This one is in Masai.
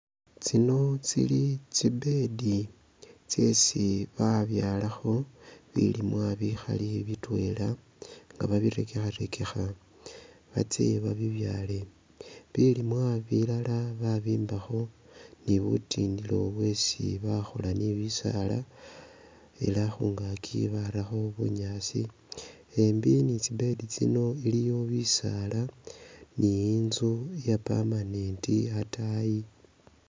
Tsino tsili tsi bed tsesi ba byalakho bilimwa bikhali bitwela nga babirekekharekekha batsye ba bibyale, bilimwa bilala babimbakho ni butindilo bwesi bakhola ni bisaala ela khungakyi barakho bunyaasi, embi ni tsi bed shino iliyo bisaala ne inzu iya permanent ataayi.